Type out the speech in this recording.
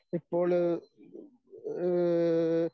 ഇപ്പോള് ഏഹ്